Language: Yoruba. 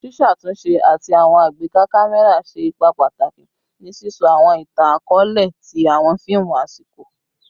Ṣiṣatunṣe ati awọn agbeka kamẹra ṣe ipa pataki ni sisọ awọn itan-akọọlẹ ti awọn fiimu asiko